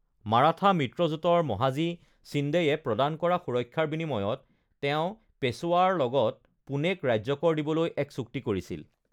মাৰাঠা মিত্ৰজোঁটৰ মহাজী শ্বিণ্ডেয়ে প্ৰদান কৰা সুৰক্ষাৰ বিনিময়ত তেওঁ পেশ্বৱাৰ লগত পুণেক ৰাজ্যকৰ দিবলৈ এক চুক্তি কৰিছিল|